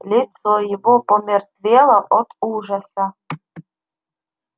лицо его помертвело от ужаса